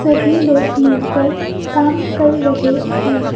सभी लोग मिलकर काम कर रहे हैं।